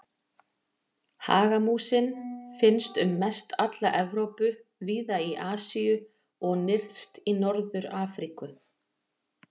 Hagamúsin finnst um mest alla Evrópu, víða í Asíu og nyrst í Norður-Afríku.